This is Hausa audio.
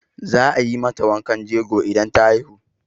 Za a yi mata wankan jego idan ta haihu.